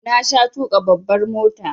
Na sha tuƙa babbar mota